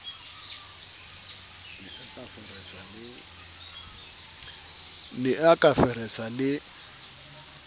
ne a ka feresa le